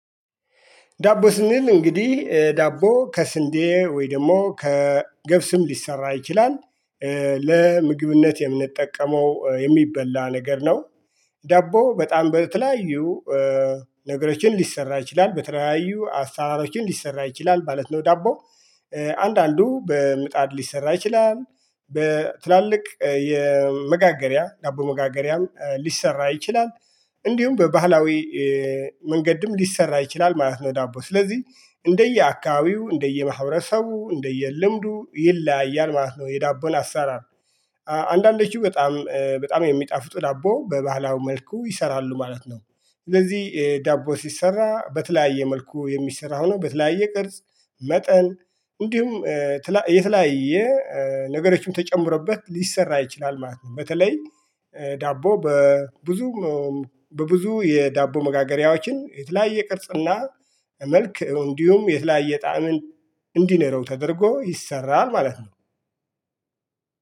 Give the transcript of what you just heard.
ዳቦ ስንል እንግዲህ ዳቦ ከስንዴ ወይ ደግሞ ከገብስም ሊሰራ ይችላል። ለምግብነት የምንጠቀመው የሚበላ ነገር ነው። ዳቦ በጣም በተለያዩ ነገሮችን ሊሰራ ይችላል በተለያዩ አሰራሮችም ሊሰራ ይችላል ማለት ነው። ዳቦ አንዳንዱ በምጣድ ሊሰራ ይችላል። በትላልቅ የመጋገሪያ ዳቦ መጋገሪያም ሊሰራ ይችላል። እንዲሁም በባህላዊ መንገድም ሊሰራ ይችላል ማለት ነው። ዳቦ ስለዚህ እንደየአካቢው እንደየማህበረሰቡ እንደየልምዱ ይለያያል ማለት ነው። የዳቦን አሰራር አንዳንዶቹ በጣም በጣም የሚጣፍጡ ዳቦ በባህላው መልኩ ይሰራሉ ማለት ነው። እንደዚህ ዳቦ ሲሰራ በተለያየ መልኩ የሚሰራው ሆኖ በተለያየ ቅርጽ መጠን እንዲሁም የተለያየ ነገሮችም ተጨምሮበት ሊሰራ ይችላል ማለት ነው። በተለይ ዳቦ በብዙ በብዙ የዳቦ መጋገሪያዎችን የተለያየ ቅርጽና መልክ እንዲሁም የተለያየ ጣዕምን እንዲኖረው ተደርጎ ይሰራል ማለት ነው።